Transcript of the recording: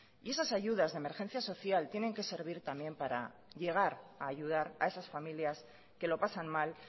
y esas ayudas de emergencia social tienen que servir también para llegar a ayudar a esas familias que lo pasan mal